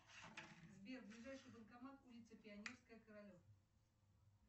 сбер ближайший банкомат улица пионерская королев